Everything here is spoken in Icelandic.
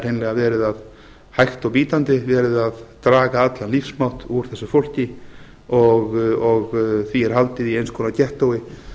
það er hreinlega hægt og bítandi verið að draga allan lífsmátt úr þessu fólki og því er haldið í eins konar